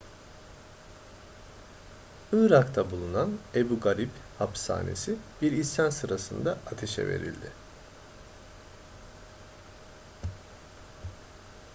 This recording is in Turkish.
irak'ta bulunan ebu garib hapishanesi bir isyan sırasında ateşe verildi